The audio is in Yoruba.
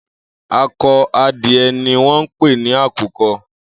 Ákọ̀ adiẹ niwọn pé ni àkúkọ̀